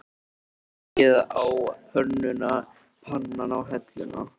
Hakkið á pönnuna, pannan á helluna.